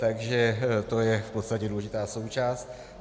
Takže to je v podstatě důležitá součást.